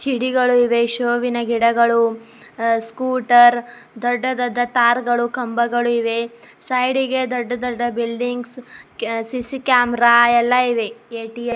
ಛಿಡಿಗಳು ಇವೆ ಶೋ ವಿನ ಗಿಡಗಳು ಅ ಸ್ಕೂಟರ್ ದೊಡ್ಡ ದೊಡ್ಡ ತಾರ್ಗಳು ಕಂಬಗಳು ಇವೆ ಸೈಡಿಗೆ ದೊಡ್ಡ ದೊಡ್ಡ ಬಿಲ್ಡಿಂಗ್ಸ್ ಸಿ_ಸಿ ಕ್ಯಾಮೆರಾ ಎಲ್ಲ ಇವೆ ಎ_ಟಿ_ಎಂ --